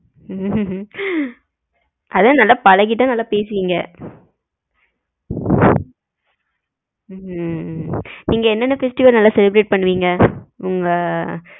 ஹம் அதான் நல்லா பழகிட்டா நல்லா பேசுவிங்க ஹம் நீங்க என்ன festival லாம் நல்லா celebrate பண்ணுவிங்க? உங்க